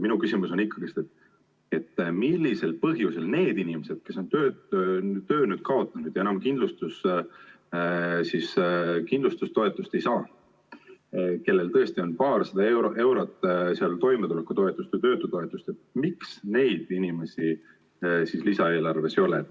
Minu küsimus on selline: millisel põhjusel neid inimesi, kes on töö kaotanud ja kes enam kindlustustoetust ei saa, vaid saavad tõesti ainult paarsada eurot toimetulekutoetust või töötutoetust, miks neid inimesi lisaeelarves ei ole?